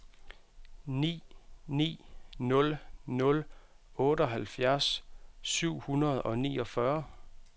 ni ni nul nul otteoghalvfjerds syv hundrede og niogfyrre